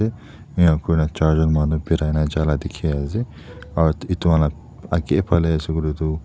Ene kurina chaar jun manu berai na jaala dekhi ase aro etu han la age phale ase koile toh--